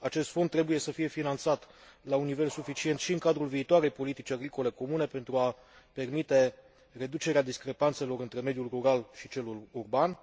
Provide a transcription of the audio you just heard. acest fond trebuie să fie finanțat la un nivel suficient și în cadrul viitoarei politici agricole comune, pentru a permite reducerea discrepanțelor între mediul rural și cel urban.